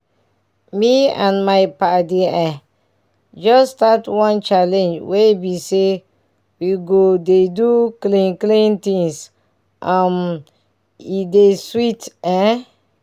me and my padi eh just start one challenge wey bi say we go dey do clean clean things um and e dey sweet ehn